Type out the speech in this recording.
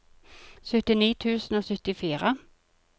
syttini tusen og syttifire